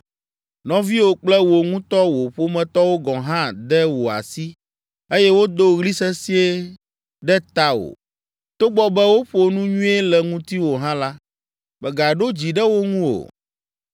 Nɔviwò kple wò ŋutɔ wò ƒometɔwo gɔ̃ hã de wò asi eye wodo ɣli sesĩe ɖe tawò. Togbɔ be woƒo nu nyuie le ŋutiwò hã la, mègaɖo dzi ɖe wo ŋu o.